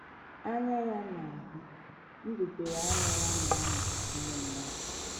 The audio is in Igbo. “ Anya Ya na - ahụ, mbubere anya Ya na - anwa ụmụ mmadụ.